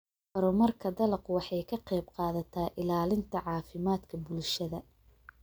Horumarka dalaggu wuxuu ka qaybqaataa ilaalinta caafimaadka bulshada.